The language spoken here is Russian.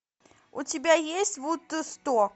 у тебя есть вудсток